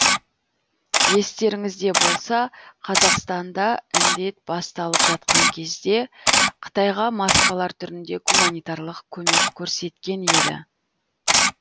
естеріңізде болса қазақстан да індет басталып жатқан кезде қытайға маскалар түрінде гуманитарлық көмек көрсеткен еді